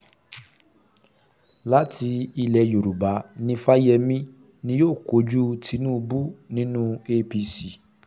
láti ilẹ̀ yorùbá ní fáyemí ni yóò kojú tinubu nínú apc